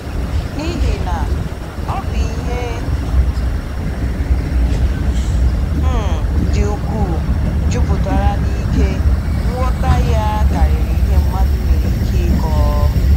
N’ihi na, ọ bụ “ihe um dị ukwuu, juputara n’ike, nghọta ya karịrị ihe mmadụ nwere ike ịkọ.